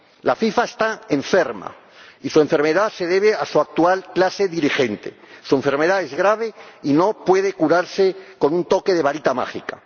La FIFA está enferma y su enfermedad se debe a su actual clase dirigente. Su enfermedad es grave y no puede curarse con un toque de varita mágica.